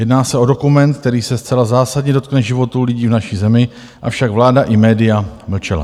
Jedná se o dokument, který se zcela zásadně dotkne životů lidí v naší zemi, avšak vláda i média mlčely.